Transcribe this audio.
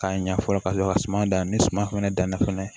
K'a ɲa fɔlɔ ka sɔrɔ ka suman dan ni suman fɛnɛ danna fɛnɛ